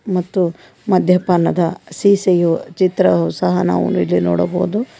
ಮತ್ತು ಮಧ್ಯಪಾನದ ಸೀಸೆಯು ಚಿತ್ರವು ಸಹ ನಾವು ಇಲ್ಲಿ ನೋಡಬಹುದು.